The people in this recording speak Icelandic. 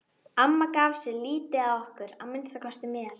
Amma gaf sig lítið að okkur, að minnsta kosti mér.